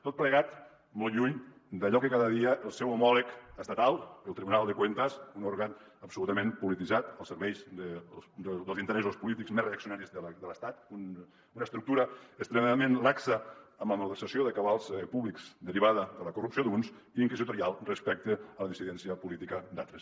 tot plegat molt lluny d’allò que fa cada dia el seu homòleg estatal el tribunal de cuentas un òrgan absolutament polititzat als serveis dels interessos polítics més reaccionaris de l’estat una estructura extremadament laxa amb la malversació de cabals públics derivada de la corrupció d’uns i inquisitorial respecte a la dissidència política d’altres